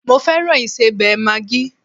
Mo fẹ́ràn ìsẹbẹ̀ Maggi